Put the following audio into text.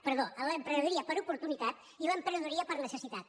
perdó entre l’emprenedoria per oportunitat i l’emprenedoria per necessitat